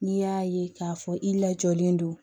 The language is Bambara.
N'i y'a ye k'a fɔ i lajɔlen don